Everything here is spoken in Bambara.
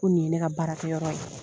nin ye ne ka baarakɛ yɔrɔ ye.